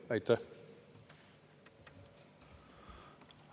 Aitäh!